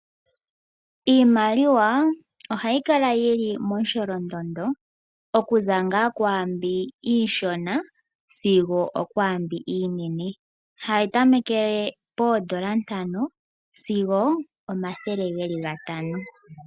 Iimaliwa ohayi kala momusholondondo okuza ngaa kwaambi iishona sigo okwaambi iinene hayi tamekele poondola ntano sigo omathele geli gatano.